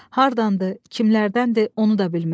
Hardandır, kimlərdəndir, onu da bilmir.